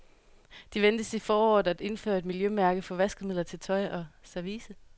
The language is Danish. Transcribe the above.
De ventes i foråret at indføre et miljømærke for vaskemidler til tøj og service.